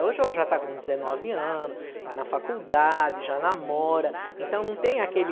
Hoje ela já está com dezenove anos, está na faculdade, já namora, então não tem aquele